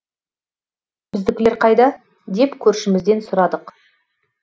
біздікілер қайда деп көршімізден сұрадық